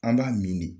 An b'a min de